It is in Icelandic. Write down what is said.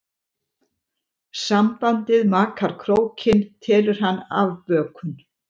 Sambandið maka krókinn telur hann afbökun.